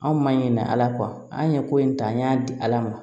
Anw ma ɲinan ala kɔ an ye ko in ta an y'a di ala ma